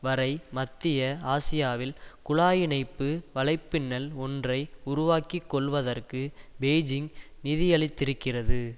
வரை மத்திய ஆசியாவில் குழாய் இணைப்பு வலைப்பின்னல் ஒன்றை உருவாக்கி கொள்வதற்கு பெய்ஜிங் நிதியளித்திருக்கிறது